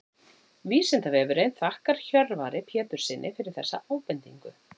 Vísindavefurinn þakkar Hjörvari Péturssyni fyrir þessa ábendingu.